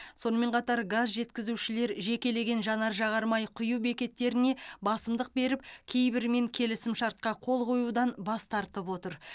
сонымен қатар газ жеткізушілер жекелеген жанар жағармай құю бекеттеріне басымдық беріп кейбірімен келісімшартқа қол қоюдан бас тартып отыр